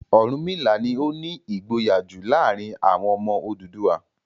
Ọ̀rúnmìlà ni ó ní ìgboyà jù láàárin àwọn ọmọ Odùduwà.